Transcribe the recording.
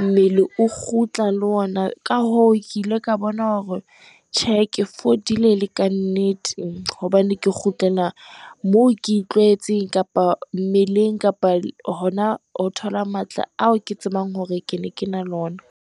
mmele o kgutla le ona, ka hoo, ke ile ka bona hore tjhe ke fodile ele ka nnete, hobane ke kgutlela moo ke itlwaetseng kapa mmeleng, kapa hona ho thola matla ao ke tsebang hore ke ne ke na le ona.